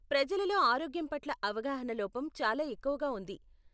ప్రజలలో ఆరోగ్యం పట్ల అవగాహన లోపం చాలా ఎక్కువగా ఉంది.